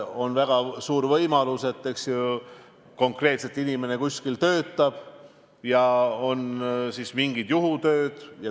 On väga suur võimalus, et inimene kuskil töötab alaliselt ja teeb vahel mingeid juhutöid.